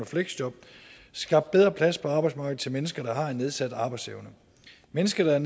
fleksjob skabt bedre plads på arbejdsmarkedet til mennesker der har en nedsat arbejdsevne mennesker der